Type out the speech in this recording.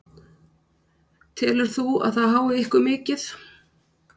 Telur þú að það hái ykkur mikið?